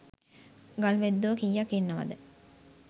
ගල් වැද්දෝ කීයක් ඉන්නවද?